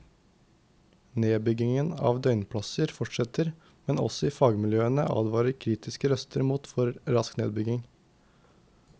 Nedbyggingen av døgnplasser fortsetter, men også i fagmiljøene advarer kritiske røster mot for rask nedbygging.